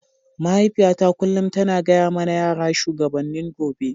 Mahaifiyata kullum tana gaya mana yara shugabannin gobe.